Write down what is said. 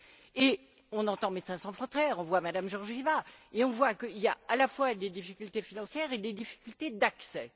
Et on entend Médecins sans frontières, on voit Mme Georgieva, nous dire qu'il y a à la fois des difficultés financières et des difficultés d'accès.